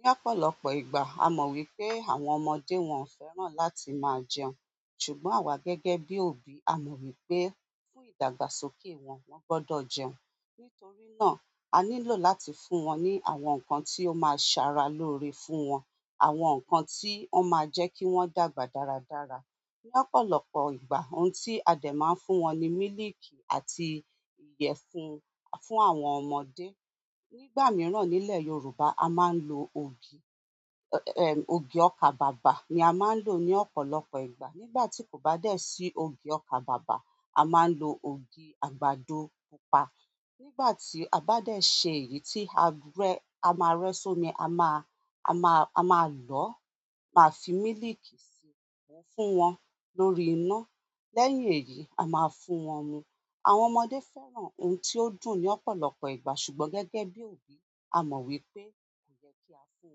Ni ọ̀pọ̀lọpọ̀ ìgbà a mo wípé àwọn ọmọdé wọn fẹ́ràn láti maa jẹun ṣùgbọ́n àwa gẹ́gẹ́ bi òbí amo wípé fún ìdàgbàsókè wọn wọn gbọdọ jẹun. Nítorí náà, a nílò láti fún wọn ní àwọn nǹkan tí ó máa ṣe ara lóore fún wọn, àwọn nǹkan tí ó máa jẹ́ kí wọ́n dàgbà dáradára. Ní ọ̀pọ̀lọpọ̀ ìgbà ohun tí a dẹ̀ máa ń fún wọn ní mílìkì àti ìyẹ̀fun fún àwọn ọmọdé. Nígbà mìíràn nílẹ̀ Yorùbá a máa ń lo ògì, ẹm, ògì ọkà bàbà ni a máa ń lò ní ọ̀pọ̀lọpọ̀ ìgbà. Nígbà tí kò bá dẹ́ sí ògì ọkà bàbà, a máa ń lo ògì àgbàdo pupa. Nígbàtí a ba de se èyí ti are amare somi a ma lọ ma fi miliki si fún wọn lórí iná. Lẹ́yìn èyí, a máa fún wọn mu. Àwọn ọmọdé fẹ́ràn ohun tí ó dùn ní ọ̀pọ̀lọpọ̀ ìgbà ṣùgbọ́n gẹ́gẹ́ bí òbí, a mọ̀ wípé kò yẹ kí a fún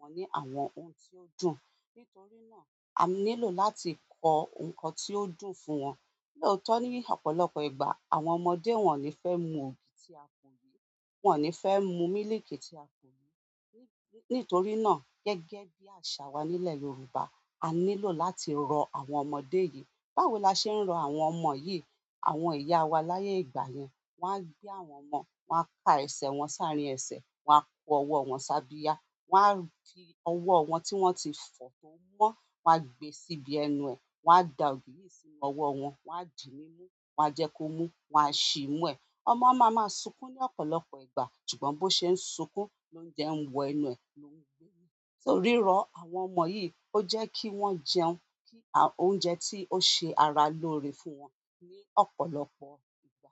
wọn ní àwọn ohun tí ó dùn. Nítorí náà, a nílò láti kọ ohun tí ó dùn fún wọn. Lóòótọ́ ní ọ̀pọ̀lọpọ̀ ìgbà àwọn ọmọdé wọn ò ní fẹ́ mu ògì tí a kò yé, wọ́n ò ní fẹ́ mu mílìkì tí a kò yé. Nítorí náà gẹ́gẹ́ bí àṣà wa nílẹ̀ Yorùbá, a nílò láti rọ àwọn ọmọdé yìí. Báwo la ṣe ń rọ àwọn ọmọ yìí? Àwọn ìyá wa láyé ìgbà yẹn, wọ́n á gbé àwọn ọmọ, wọ́n á ka ẹsẹ̀ wọn sáré ẹsẹ̀, wọ́n á kọ ọwọ́ wọn ṣáàbìyá, won fi ọwọ wọn ti wọn ti fo to mọ wa gbe sibi ẹnu e wa da ògì si owo wọn wa di nimu wa je ko mu wa si imu e. Ọmọ a ma ma sunkun ni ọ̀pọ̀lọpọ̀ ìgbà ṣùgbọ́n bi o se sunkun lo je wo ẹnu e. Torí rọ àwọn ọmọ yìí ó jẹ́ kí wọ́n jẹun kí óúnjẹ tí ó ṣe ara lóore fún wọn ní ọ̀pọ̀lọpọ̀ ìgbà.